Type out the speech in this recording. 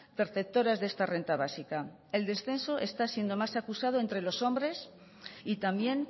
perceptoras de esta renta básica el descenso está siendo más acusado entre los hombres y también